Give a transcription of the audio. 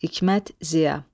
Hikmət Ziya.